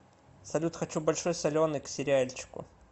салют хочу большой соленый к сериальчику